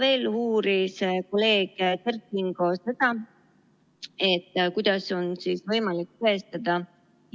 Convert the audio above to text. Veel uuris kolleeg Kert Kingo seda, kuidas on võimalik tõestada